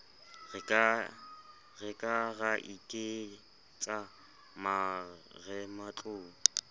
re ka ra iketsa marematlou